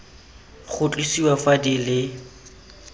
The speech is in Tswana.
go tlosiwa fa di le